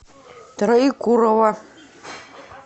троекурово